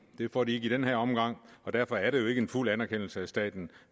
det får de ikke i den her omgang og derfor er det jo ikke en fuld anerkendelse af staten